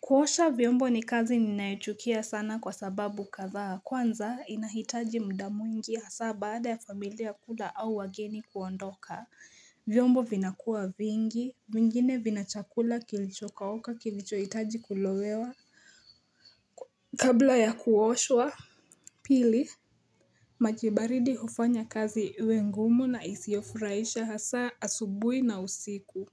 Kuosha vyombo ni kazi ninayochukia sana kwa sababu kadhaa. Kwanza inahitaji muda mwingi hasa baada ya familia kula au wageni kuondoka. Vyombo vinakuwa vingi. Vingine vina chakula kilichokauka kilichohitaji kulowewa kabla ya kuoshwa. Pili, maji baridi hufanya kazi iwe ngumu na isiyofurahisha hasa asubuhi na usiku.